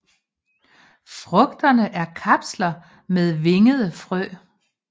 Frugterne er kapsler med vingede frø